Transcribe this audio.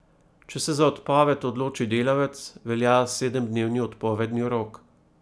Če se za odpoved odloči delavec, velja sedemdnevni odpovedni rok.